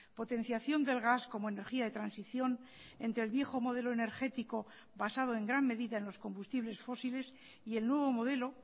potenciación del gas como energía de transición entre el viejo modelo energético basado en gran medida en los combustibles fósiles y el nuevo modelo